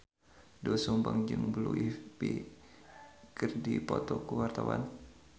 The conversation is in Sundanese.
Doel Sumbang jeung Blue Ivy keur dipoto ku wartawan